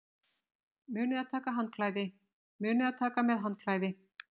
Munið að taka með handklæði!